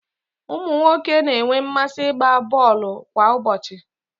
ụmụ nwoke na-enwe mmasị ịgba bọọlụ kwa ụbọchị